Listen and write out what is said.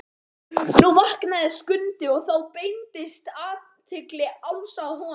Nú vaknaði Skundi og þá beindist athygli Álfs að honum.